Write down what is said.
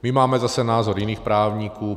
My máme zase názor jiných právníků.